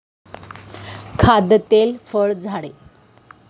खाद्यतेल फळ झाडे